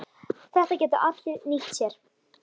Þetta geta allir nýtt sér.